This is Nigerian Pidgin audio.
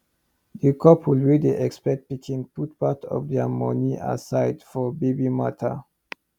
the couple wey dey expect pikin put part of their money aside for baby matter